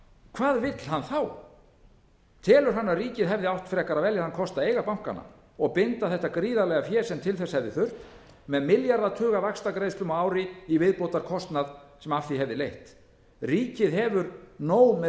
hvað vill hann telur hann að ríkið hefði átt frekar að velja þann kosta að eiga bankana og binda þetta gríðarlega fé sem til þess hefði þurft með milljarðatuga vaxtagreiðslum á ári í viðbótarkostnað sem af því hefði leitt ríkið hefur nóg með